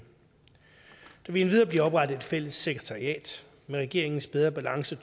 vil endvidere blive oprettet et fælles sekretariat med regeringens bedre balance